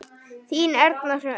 Þín Erna Hrönn.